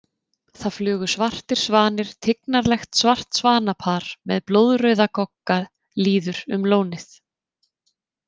Það flugu svartir svanir Tignarlegt svartsvanapar með blóðrauða gogga líður um lónið.